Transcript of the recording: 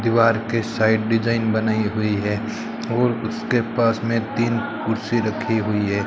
दीवार के side design बनाई हुई है और उसके पास में तीन कुर्सी रखी हुई है।